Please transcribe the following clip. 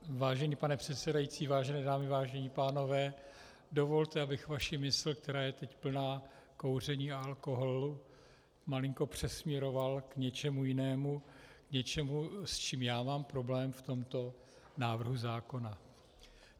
Vážený pane předsedající, vážené dámy, vážení pánové, dovolte, abych vaši mysl, která je teď plná kouření a alkoholu, malinko přesměroval k něčemu jinému - k něčemu, s čím já mám problém v tomto návrhu zákona.